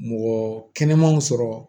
Mɔgɔ kɛnɛmanw sɔrɔ